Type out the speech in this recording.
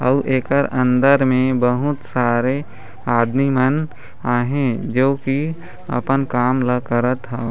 अउ एकर अंदर मे बहुत सारे आदमी मन अहे जो की अपन काम ला करत हउ --